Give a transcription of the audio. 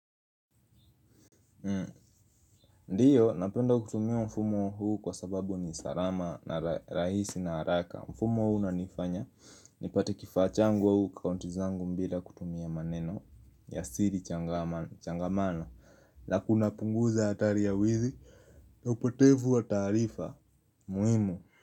Ndiyo, napenda kutumia mfumo huu kwasababu ni salama na rahisi na haraka. Mfumo huu unanifanya nipate kifaa changu au akaunti zangu bila kutumia maneno ya siri changamano. Na kunapunguza hatari ya wizi na upotevu wa taarifa muhimu.